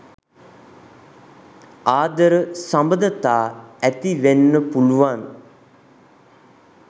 ආදර සබඳතා ඇති වෙන්න පුළුවන්.